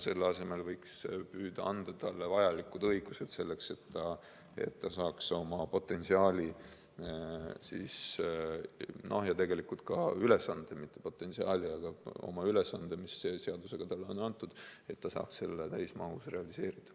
Selle asemel võiks püüda anda talle vajalikud õigused, et ta saaks oma ülesande, mis seadusega talle on antud, täismahus realiseerida.